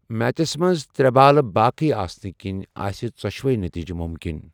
Matches منٛز ترٛےٚ بالہٕ باقٕیہ آسنہٕ كِنۍ ٲسہِ ژو٘شوٕے نٔتیٖجہٕ مُمکِن۔